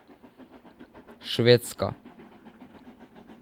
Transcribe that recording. Švedska.